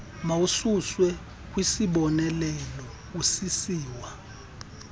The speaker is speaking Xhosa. mawususwe kwisiboneleelo usisiwa